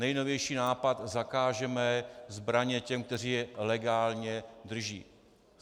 Nejnovější nápad - zakážeme zbraně těm, kteří je legálně drží.